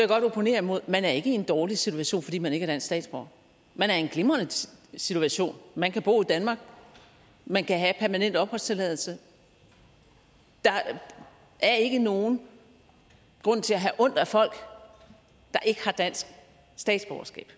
godt opponere imod man er ikke i en dårlig situation fordi man ikke er dansk statsborger man er i en glimrende situation man kan bo i danmark man kan have permanent opholdstilladelse der er ikke nogen grund til at have ondt af folk der ikke har dansk statsborgerskab